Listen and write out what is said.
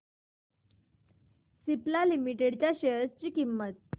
Cipla limited च्या share ची किंमत